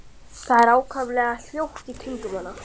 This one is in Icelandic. Það er allt ákaflega hljótt í kringum hana.